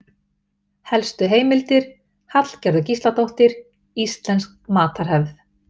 Helstu heimildir: Hallgerður Gísladóttir: Íslensk matarhefð.